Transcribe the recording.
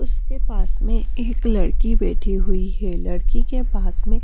उसके पास में एक लड़की बैठी हुई है लड़की के पास में--